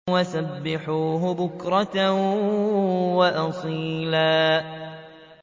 وَسَبِّحُوهُ بُكْرَةً وَأَصِيلًا